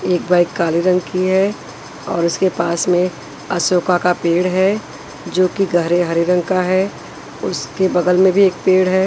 एक बाइक काले रंग की है और इसके पास में अशोका का पेड़ है जो कि गहरे हरे रंग का है उसके बगल में भी एक पेड़ है।